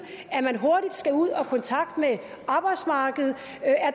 at man hurtigt skal ud og i kontakt med arbejdsmarkedet